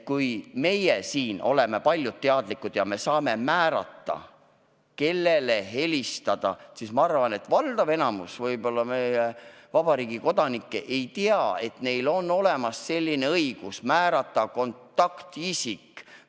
Meie siin oleme teadlikud, et saame ise määrata, kellele helistataks, aga ma arvan, et võib-olla valdav enamus meie vabariigi kodanikke ei tea, et neil on õigus määrata endale kontaktisik.